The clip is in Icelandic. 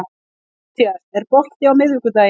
Mattías, er bolti á miðvikudaginn?